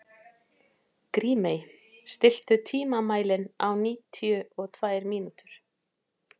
Grímey, stilltu tímamælinn á níutíu og tvær mínútur.